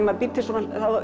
maður býr til svona þá